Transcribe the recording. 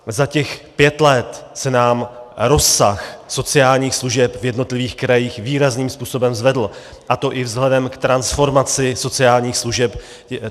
Za těch pět let se nám rozsah sociálních služeb v jednotlivých krajích výrazným způsobem zvedl, a to i vzhledem k transformaci sociálních služeb.